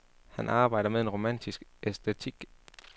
Han arbejder med en romantisk æstetik.